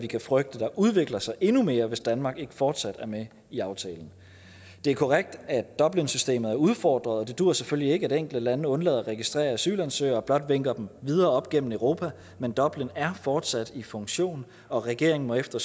kan frygte udvikler sig endnu mere hvis danmark ikke fortsat er med i aftalen det er korrekt at dublinsystemet er udfordret og det dur selvfølgelig ikke at enkelte lande undlader at registrere asylansøgere og blot vinker dem videre op gennem europa men dublin er fortsat i funktion og regeringen må efter